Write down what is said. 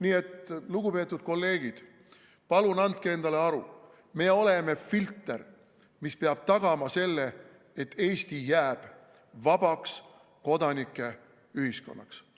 Nii et, lugupeetud kolleegid, palun andke endale aru, me oleme filter, mis peab tagama selle, et Eesti jääb vabaks kodanike ühiskonnaks.